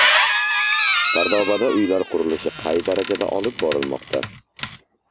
Sardobada uylar qurilishi qay darajada olib borilmoqda?.